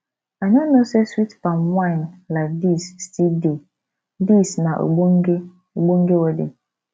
i no know say sweet palm wine like dis still dey dis na ogbonge ogbonge wedding